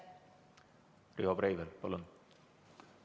Riho Breivel, palun!